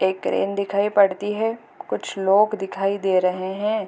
एक क्रेन दिखाई पड़ती है कुछ लोग दिखाई दे रहे हैं।